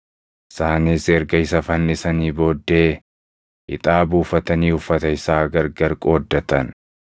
Isaanis erga isa fannisanii booddee ixaa buufatanii uffata isaa gargar qooddatan.